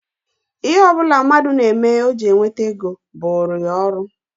Ihe ọ bụla mmadụ na-eme o ji enweta ego bụụrụ ya ọrụ